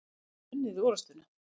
Hefðum við unnið orustuna?